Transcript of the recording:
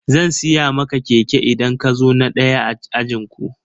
Zan siya maka keke idan ka zo na daya a ajinku.